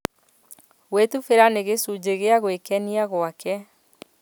Gwĩtubĩra nĩ gĩcunjĩ gĩa gwĩkenia gwake